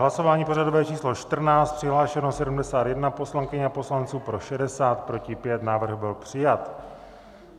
Hlasování pořadové číslo 14, přihlášeno 71 poslankyň a poslanců, pro 60, proti 5, návrh byl přijat.